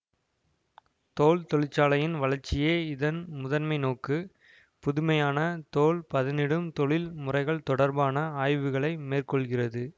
தோல் தொழிற்சாலையின் வளர்ச்சியே இதன் முதன்மை நோக்கு புதுமையான தோல் பதனிடும் தொழில் முறைகள் தொடர்பான ஆய்வுகளை மேற்கொள்கிறது